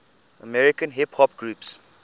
american hip hop groups